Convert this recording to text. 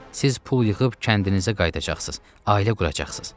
Siz pul yığıb kəndinizə qayıdacaqsınız, ailə quracaqsınız.